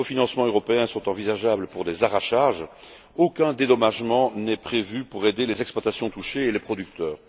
Or, si un cofinancement européen est envisageable pour l'arrachage, aucun dédommagement n'est prévu pour aider les exploitations touchées et les producteurs.